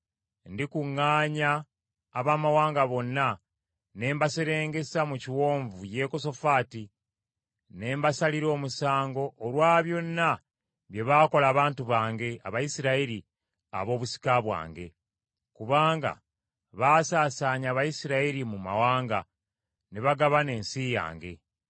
Ndikuŋŋaanya abamawanga bonna ne mbaserengesa mu kiwonvu Yekosafaati, ne mbasalira omusango olwa byonna bye baakola abantu bange Abayisirayiri ab’obusika bwange. Kubanga baasaasaanya Abayisirayiri mu mawanga, ne bagabana ensi yange.